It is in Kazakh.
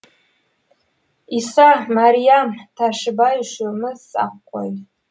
иса мәриям тәшібай үшеуміз ақ қой